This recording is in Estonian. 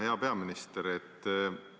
Hea peaminister!